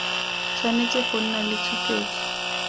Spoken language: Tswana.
tshwanetse go nna le tshupetso